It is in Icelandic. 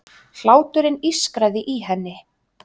Hláturinn ískraði í henni.